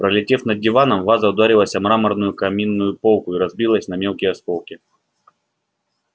пролетев над диваном ваза ударилась о мраморную каминную полку и разбилась на мелкие осколки